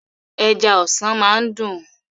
Ẹja ọsàn máa ń dún.